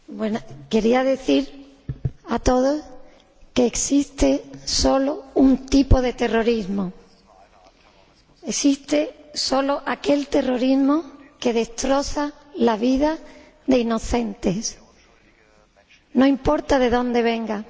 Señor Presidente, quisiera decir a todos que existe solo un tipo de terrorismo existe solo aquel terrorismo que destroza la vida de inocentes, no importa de donde venga.